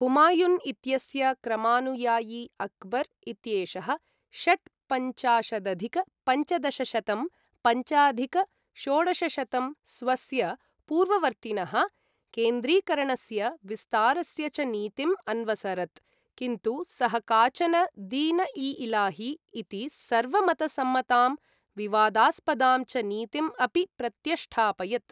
हुमायुन् इत्यस्य क्रमानुयायी अकबर् इत्येषःषट्पञ्चाशदधिक पञ्चदशशतं पञ्चाधिक षोडशशतं स्वस्य पूर्ववर्तिनः, केन्द्रीकरणस्य विस्तारस्य च नीतिम् अन्वसरत्, किन्तु सः काचन दीन इ इलाही इति सर्व मत सम्मतां, विवादास्पदां च नीतिम् अपि प्रत्यष्ठापयत्।